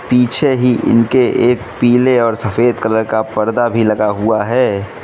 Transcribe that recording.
पीछे ही इनके एक पीले और सफेद कलर का पर्दा भी लगा हुआ है।